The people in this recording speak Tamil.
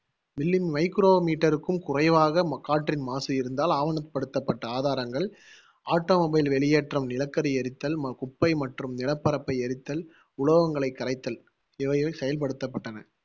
milli micrometer க்கும் குறைவாக மா~ காற்றின் மாசு இருந்தால் ஆவணப்படுத்தப்பட்ட ஆதாரங்கள் automobile வெளியேற்றம், நிலக்கரி எரித்தல், குப்பை மற்றும் நிலப்பரப்பை எரித்தல், உலோகங்களை கரைத்தல் இவைகள் செயல்படுத்தப்பட்டன